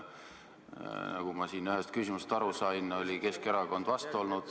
Nagu ma siin ennist ühest küsimusest aru sain, oli Keskerakond vastu.